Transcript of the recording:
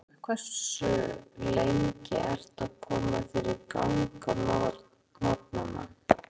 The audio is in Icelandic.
Höfðaborg í Suður-Afríku Hversu lengi ertu að koma þér í gang á morgnanna?